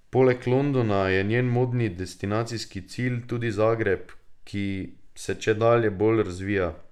Poleg Londona je njen modni destinacijski cilj tudi Zagreb, ki se čedalje bolj razvija.